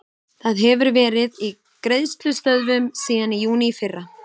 Það hefur verið í greiðslustöðvun síðan í júní í fyrra.